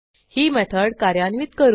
ही method कार्यान्वित करू